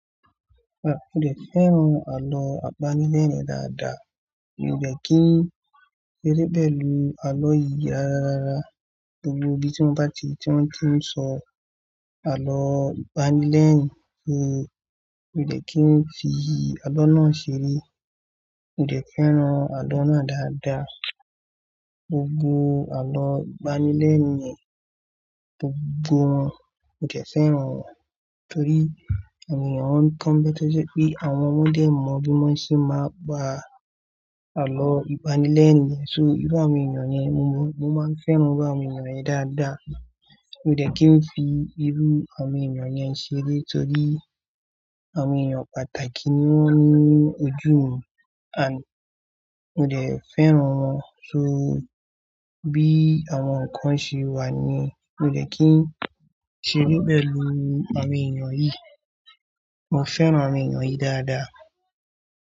Rárá mi ò fẹ́ran àlọ́ àbánile yẹn dáadáa, mio dẹ kí n ṣeré pẹ̀lú àlọ́ yìí rara rárá. Gbogbo igi tí mo bá ti tí ń kí ń sọ àlọ́ àbálẹ̀ lẹ́ẹ̀rín ṣe, mio dẹ kí ń fi àlọ́ náà ṣeré. Mo dẹ́ fẹ́ran àlọ́ náà dáadáa. Gbogbo àlọ́ àbálẹ̀ lẹ́ẹ̀rín gbogbo wọn, mo dẹ́ fẹ́ran wọn torí àwọn èèyàn máa ń kọ́nbẹ́tàṣẹ́ pé àwọn ọmọdé mọ bí wọ́n ṣe máa gbà àlọ́ ibáni lẹ́ẹ̀rín yẹn. So irú àwọn èèyàn yẹn mo mọ̀, mo máa ń fẹ́ran irú àwọn èèyàn yẹn dáadáa. Mo dẹ kí ń fi irú àwọn èèyàn yẹn ṣeré torí àwọn èèyàn pàtàkì ni wọ́n ni ojú mi. Àní, mo dẹ́ fẹ́ran wọn. So bí àwọn kan ṣe wà ni mo dẹ kí ń ṣeré pẹ̀lú àwọn èèyàn yìí. Mo fẹ́ran àwọn èèyàn yìí dáadáa.